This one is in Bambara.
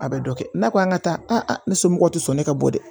A bɛ dɔ kɛ n'a ko an ka taa ne somɔgɔw tɛ sɔn ne ka bɔ dɛ